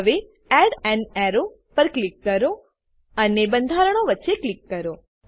હવે add an arrow પર click કરો અને બંધારણો વચ્ચે ક્લિક કરો